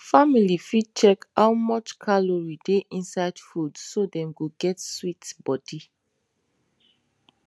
family fit check how much calorie dey inside food so dem go get sweet body